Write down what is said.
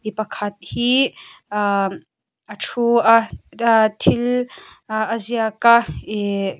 mi pakhat hi aa a ṭhu a thil ahh a ziak a ihh--